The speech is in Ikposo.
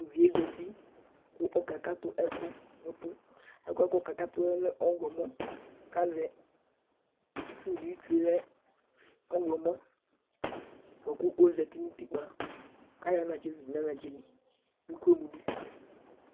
Tʋ uvi yɛ zati kʋ ɔkakatʋ ɛkʋ nʋ ʋtʋ Ɛkʋ yɛ kʋ ɔkakatʋ yɛ lɛ ɔɣlɔmɔ kʋ azɛ itsu dɩ Itsu yɛ lɛ ɔɣlɔmɔ bʋa kʋ ɔzati nʋ utikpǝ kʋ ayɔ anatsɛ zudu nʋ anatsɛ li kʋ akɔ emu dʋ